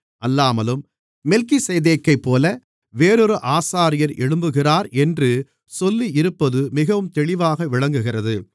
அல்லாமலும் மெல்கிசேதேக்கைப்போல வேறொரு ஆசாரியர் எழும்புகிறார் என்று சொல்லியிருப்பது மிகவும் தெளிவாக விளங்குகிறது